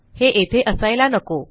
हे येथे असायला नको